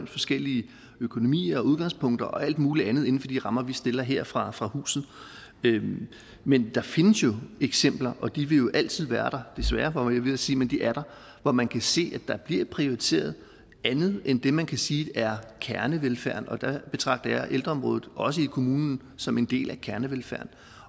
forskellige økonomier og udgangspunkter og alt muligt andet inden for de rammer vi stiller her fra fra huset men der findes jo eksempler og de vil jo altid være der desværre var jeg ved at sige hvor man kan se at der bliver prioriteret andet end det man kan sige er kernevelfærden og der betragter jeg ældreområdet også i kommunen som en del af kernevelfærden